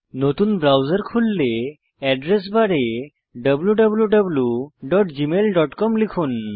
নতুন ব্রাউজার খুললে এড্রেস বারে wwwgmailcom লিখুন